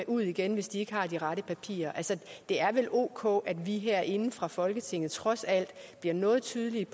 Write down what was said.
ud igen hvis de ikke har de rette papirer det er vel ok at vi herinde fra folketinget trods alt bliver noget tydelige